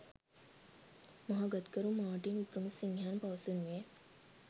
මහගත්කරු මාර්ටින් වික්‍රමසිංහයන් පවසනුයේ